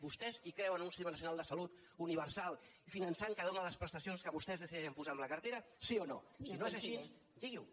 vostès hi creuen o no en un sistema nacional de salut universal finançant cada una de les prestacions que vostès decideixen posar en la cartera sí o no si no és així digui ho